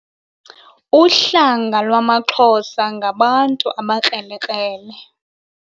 Uhlanga lwamaXhosa ngabantu abakrelekrele.